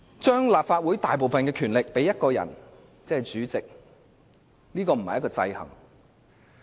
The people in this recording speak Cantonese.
將立法會大部分的權力賦予一人，並非制衡。